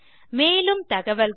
மேலும் தகவல்களுக்கு